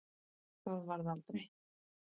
Það varð aldrei!